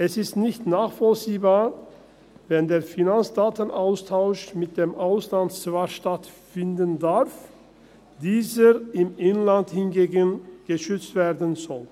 Es ist nicht nachvollziehbar, wenn der Finanzdatenaustausch mit dem Ausland zwar stattfinden darf, diese Daten im Inland hingegen geschützt werden sollen.